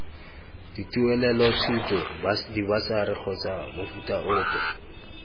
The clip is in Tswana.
dituelelothuto dibasari kgotsa mofuta ope